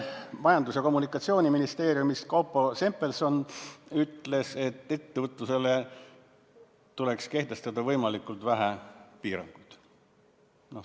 Majandus- ja Kommunikatsiooniministeeriumist Kaupo Sempelson ütles, et ettevõtlusele tuleks kehtestada võimalikult vähe piiranguid.